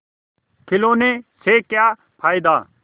खिलौने से क्या फ़ायदा